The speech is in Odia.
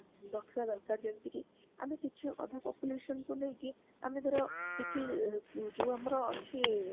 ରଖିବା ଦରକାର ଯେମିତିକି ଆମେ କିଛି ଅଧା population କୁ ନେଇକି ଆମେ ଧର କିଛି ଅ ଯୋଉ ଆମର ଅଛି